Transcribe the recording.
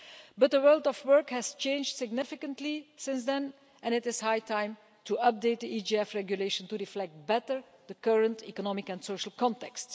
But the world of work has changed significantly since then, and it is high time to update the EGF Regulation to reflect better the current economic and social context.